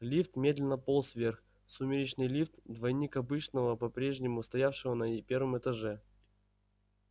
лифт медленно полз вверх сумеречный лифт двойник обычного по прежнему стоявшего на первом этаже